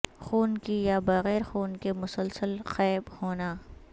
خون کی یا بغیر خون کے مسلسل قے ہونا